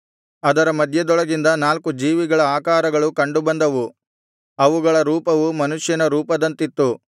ಅದರ ಮಧ್ಯದೊಳಗಿಂದ ನಾಲ್ಕು ಜೀವಿಗಳ ಆಕಾರಗಳು ಕಂಡುಬಂದವು ಅವುಗಳ ರೂಪವು ಮನುಷ್ಯನ ರೂಪದಂತಿತ್ತು